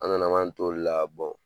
An nana an to de la